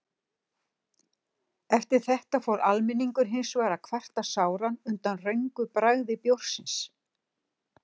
Eftir þetta fór almenningur hins vegar að kvarta sáran undan röngu bragði bjórsins.